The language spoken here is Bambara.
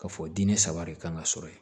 Ka fɔ diinɛ saba de kan ka sɔrɔ yen